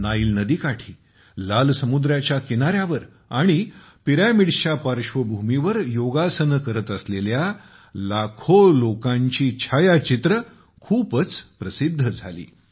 Nile नदीकाठी लाल समुद्राच्या किनाऱ्यावर आणि पिरॅमिड्सच्या पार्श्वभूमीवर योग करत असलेल्या लोकांचे छायाचित्रे खूपच प्रसिद्ध झाली